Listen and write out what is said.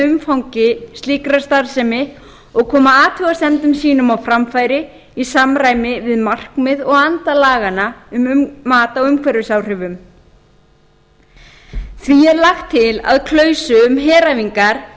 umfangi slíkrar starfsemi og koma athugasemdum sínum á framfæri í samræmi við markmið og anda laganna um mat á umhverfisáhrifum því er lagt til að klausu um heræfingar